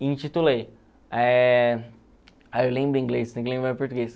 E intitulei, eh ai eu lembro em inglês, tem que lembrar em português.